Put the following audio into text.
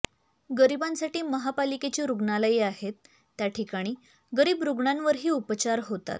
गरीबांसाठी महापालिकेची रुग्णालये आहेत त्या ठिकाणी गरीब रुग्णांवरही उपचार होतात